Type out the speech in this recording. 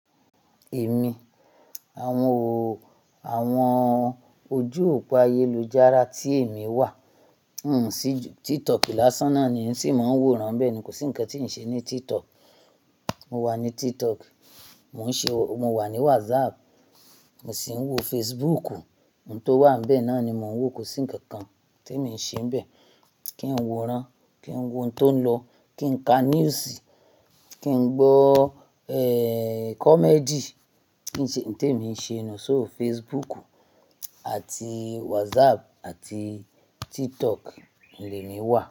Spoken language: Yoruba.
Èmi, àwọn ò, àwọn ojú òpó ayélujára tí èmi wà, n sì jù TikTok lásán náà ni in sì máa ń wòran nbẹ́ẹ̀ ni kò sí ǹkan tí ǹ ṣe ní TikTok. Mo wà ní TikTok, mò ń ṣe, mo wà ní WhatsApp, mo sì ń wò Facebook. Nǹ tó wà bẹ́ẹ̀ náà ni mò ń wò kò sí ǹkan kan tí ǹ ṣe bẹ́ẹ̀. Kí ń wòran, kí ń wò ǹ tó ń lọ, kí ń ka news, kí ń gbọ́ ẹ́ comedy, kí ǹ ṣe ǹ tí ǹ ṣe nù sọ́ọ̀ Facebook àti WhatsApp àti TikTok ni èmi wà.